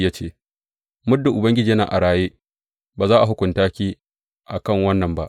Ya ce, Muddin Ubangiji yana a raye, ba za a hukunta ki a kan wannan ba.